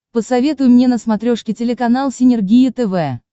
посоветуй мне на смотрешке телеканал синергия тв